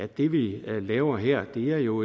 det vi laver her jo